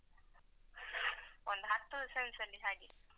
ಒಂದು ಹತ್ತು Cents ಅಲ್ಲಿ ಹಾಗೆ.